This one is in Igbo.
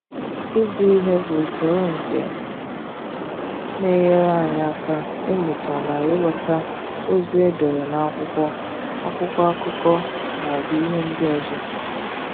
Ịgụ ihe bụ usoro nke na-enyere anyị aka ịmụta na ịghọta ozi e dere n'akwụkwọ, akwụkwọ akụkọ, maọbụ ihe ndị ọzọ.